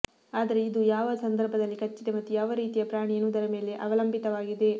ಆದರೆ ಇದು ಯಾವ ಸಂದರ್ಭದಲ್ಲಿ ಕಚ್ಚಿದೆ ಮತ್ತು ಯಾವ ರೀತಿಯ ಪ್ರಾಣಿ ಎನ್ನುವುದರ ಮೇಲೆ ಅವಲಂಬಿತವಾಗಿದೆ